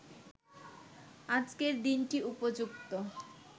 আজকের দিনটি উপযুক্ত